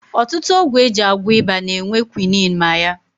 Ọtụtụ ọgwụ e ji agwọ ịba na-enwe kwinin ma ya